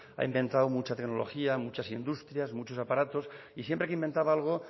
ha inventado mucha tecnología muchas industrias muchos aparatos y siempre que inventaba algo